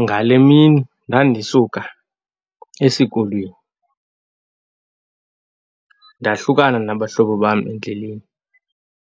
Ngale mini ndandisuka esikolweni, ndahlukana nabahlobo bam endleleni,